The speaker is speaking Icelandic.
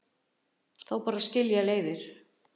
Þá bara skilja leiðir